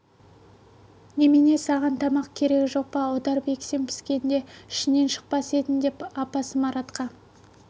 немене саған тамақ керегі жоқ па мен аударып ексем піскеңде ішінен шықпас едің деп апасы маратқа